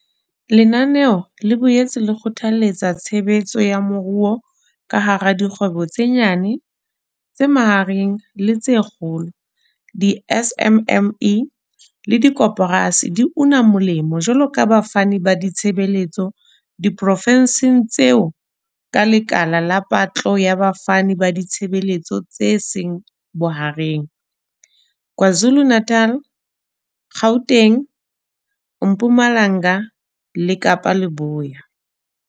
Lenanelo le boetse le kgothaletsa tshebetso ya moruo ka ha dikgwebo tse nyane, tse mahareng le tse kgolo di-SMME le dikoporasi di una molemo jwaloka bafani ba ditshebeletso diprofenseng tseo ka lekala la patlo ya bafani ba ditshebeletso tse seng bohareng KwaZulu-Natal, Gauteng, Mpumalanga le Kapa Leboya.